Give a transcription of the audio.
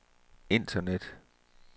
internet